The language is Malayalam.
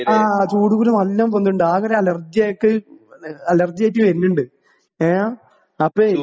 ആ ചൂട് കുരു നല്ലോം വെന്നിണ്ട് ആകൊരലർജ്ജിയായിട്ട് ആ അലർജ്ജിയായിട്ട് ഏ ആ അപ്പേയ്.